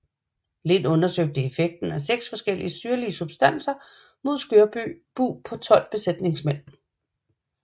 Lind undersøgte effekten af seks forskellige syrlige substanser mod skørbug på tolv besætningsmænd